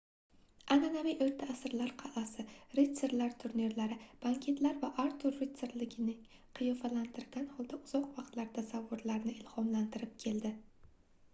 anʼanaviy oʻrta asrlar qalʼasi ritsarlar turnirlari banketlar va artur rutsarligini qiyofalantirgan holda uzoq vaqtlar tasavvurlarni ilhomlantirib keldi